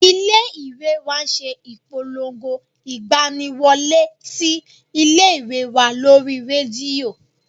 Ilé ìwé wa ṣe ìpolongo ìgbani wọlé sí ilé ìwé wa lórí rédíò